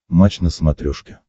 матч на смотрешке